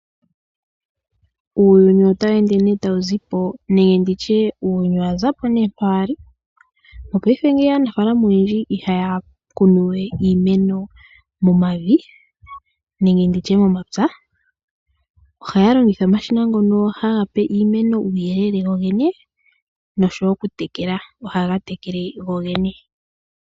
Uuyuni owa za po mpoka wa li. Mopaife aanafaalama oyendji ihaya kunu we iimeno momavi nenge momapya. Ohaya longitha omashina ngono haga pe iimeno uuyele gogene noshowo okutekela, ohaga tekele gogene.